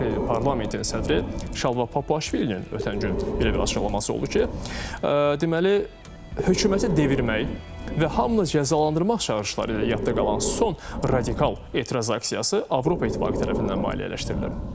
Parlamentin sədri Şalva Papiaşvilinin ötən gün belə bir açıqlaması oldu ki, deməli, hökuməti devirmək və hamını cəzalandırmaq çağırışları ilə yadda qalan son radikal etiraz aksiyası Avropa İttifaqı tərəfindən maliyyələşdirilib.